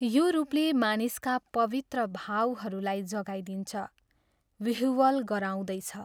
यो रूपले मानिसका पवित्र भावहरूलाई जगाइदिन्छ विह्वल गराउँदैछ।